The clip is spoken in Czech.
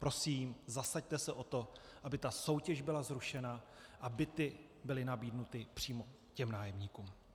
Prosím, zasaďte se o to, aby ta soutěž byla zrušena a byty byly nabídnuty přímo těm nájemníkům.